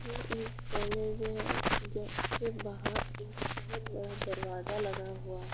ये एक कॉलेज है जसके बाहर एक बोहोत बड़ा दरवाजा लगा हुआ --